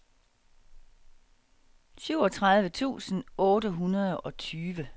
syvogtredive tusind otte hundrede og tyve